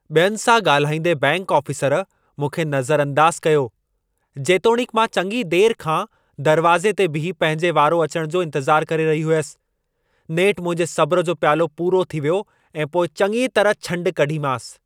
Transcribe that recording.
ॿियनि सां ॻाल्हाईंदे बैंकि आफ़ीसर मूंखे नज़रअंदाज़ु कयो, जेतोणीकि मां चङी देर खां दरवाज़े ते बीही पंहिंजे वारो अचण जो इंतज़ारु करे रही हुयसि। नेठि मुंहिंजे सब्र जो प्यालो पूरो थी वियो ऐं पोइ चङीअ तरह छंड कढीमांसि।